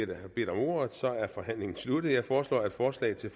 der har bedt om ordet er forhandlingen sluttet jeg foreslår at forslaget til